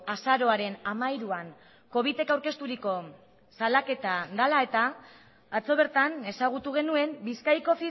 azaroaren hamairuan covitek aurkezturiko salaketa dela eta atzo bertan ezagutu genuen bizkaiko